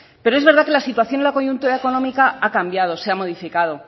pero es verdad que la situación en la coyuntura económica ha cambiado se ha modificado